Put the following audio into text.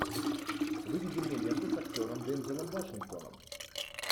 выведи мне ленту с актером дензелом вашингтоном